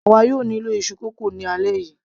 àwa yóò nílò iṣu kókò ni alẹ́ yìí